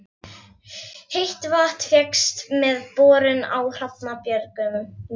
Heitt vatn fékkst með borun á Hrafnabjörgum í